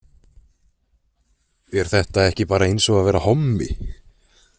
Er þetta ekki bara eins og að vera hommi?